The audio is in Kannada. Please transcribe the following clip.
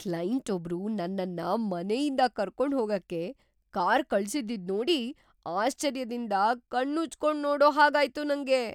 ಕ್ಲೈಂಟೊಬ್ರು ನನ್ನನ್ನ ಮನೆಯಿಂದ ಕರ್ಕೊಂಡ್ಹೋಗಕ್ಕೆ ಕಾರ್‌ ಕಳ್ಸಿದ್ದಿದ್ನೋಡಿ ಆಶ್ಚರ್ಯದಿಂದ ಕಣ್ಣುಜ್ಕೊಂಡ್‌ ನೋಡೋ ಹಾಗಾಯ್ತು ನಂಗೆ.